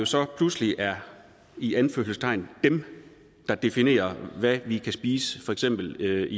så pludselig er i anførselstegn dem der definerer hvad vi kan spise i for eksempel